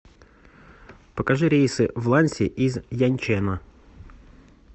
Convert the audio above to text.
покажи рейсы в ланьси из яньчэна